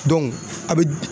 a bɛ